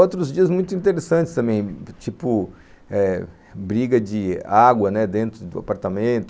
Outros dias muito interessantes também, tipo eh briga de água dentro do apartamento.